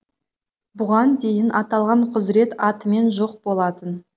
бұған дейін аталған құзырет атымен жоқ болатын